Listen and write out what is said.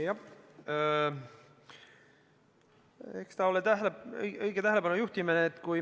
Jah, eks ta ole õige tähelepanu juhtimine.